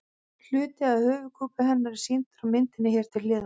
Hluti af höfuðkúpu hennar er sýndur á myndinni hér til hliðar.